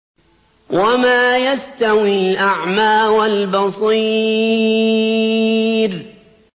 وَمَا يَسْتَوِي الْأَعْمَىٰ وَالْبَصِيرُ